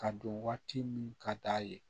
Ka don waati min ka d'a ye